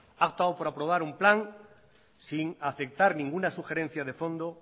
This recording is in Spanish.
ha optado por aprobar un plan sin aceptar ninguna sugerencia de fondo